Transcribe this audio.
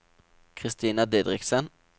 Christina Didriksen